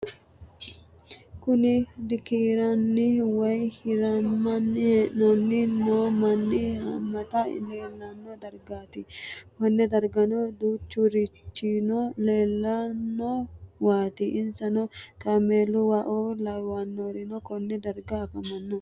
Kuni dikiran woyi hiraninna hidhanni noo manni hammate leelano darigati konne dargano duuchuricino leelanowati insano kameeluwao laawanorino konne dargano afamano?